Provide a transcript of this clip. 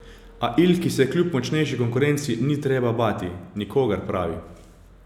A Ilki se kljub močnejši konkurenci ni treba bati nikogar, pravi.